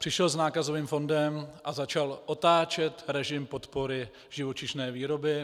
Přišel s nákazovým fondem a začal otáčet režim podpory živočišné výroby.